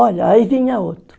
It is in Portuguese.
Olha, aí vinha outro.